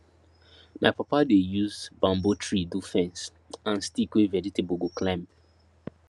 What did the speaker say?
my papa dey use bamboo tree do fence and stick wey vegetable go climb